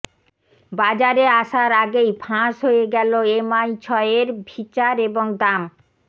বাজারে আসার আগেই ফাঁস হয়ে গেল এমআই ছয়ের ফিচার এবং দাম